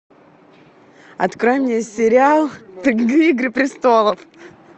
открой мне сериал игры престолов